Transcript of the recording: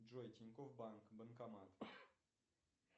джой тинькофф банк банкомат